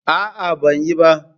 A'a, ban yi ba.